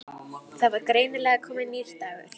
Það var greinilega kominn nýr dagur.